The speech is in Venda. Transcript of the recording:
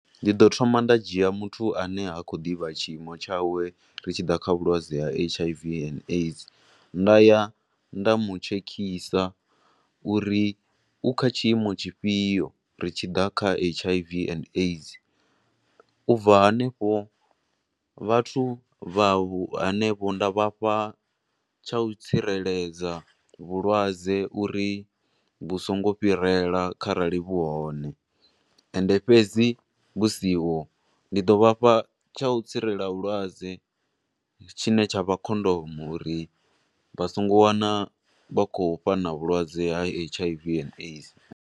Ndi ḓo thoma nda dzhia muthu ane ha khou ḓivha tshiimo tshawe ri tshi ḓa kha tshiimo tsha H_I_V and AIDS. Nda ya nda mu tshekisa uri u kha tshiimo tshi fhio ri tshi ḓa kha H_I_V and AIDS, u bva hanefho, vhathu vha vhu hanevho nda vhafha tsha u tsireledza vhulwadze, uri vhu songo fhirela kharali vhu hone, ende fhedzi vhu siho, ndi ḓo vhafha tsha u tsirela vhulwadze tshi ne tsha vha khondomu, uri vha songo wana vha khou fhana vhulwadze ha H_I_V and AIDS.